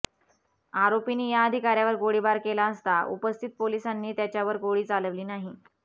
आरोपीनी या अधिकाऱ्यावर गोळीबार केला असता उपस्थित पोलिसांनी त्याच्यावर गोळी चालवली नाही